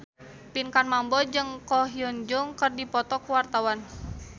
Pinkan Mambo jeung Ko Hyun Jung keur dipoto ku wartawan